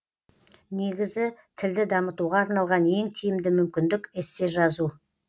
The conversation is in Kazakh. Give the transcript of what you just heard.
негізі тілді дамытуға арналған ең тиімді мүмкіндік эссе жазу